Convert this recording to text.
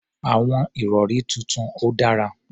Àwọn ìrọ̀rí tuntun ò dára.